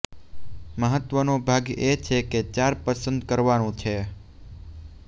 મહત્વનો ભાગ એ છે કે ચાર પસંદ કરવાનું છે